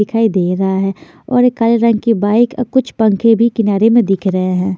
दिखाई दे रहा है और एक काले रंग की बाइक अ कुछ पंखे भी किनारे में दिख रहे हैं।